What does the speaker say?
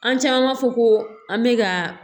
An caman b'a fɔ ko an bɛ ka